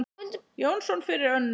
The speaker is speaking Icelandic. Jónsson fyrir Önnu.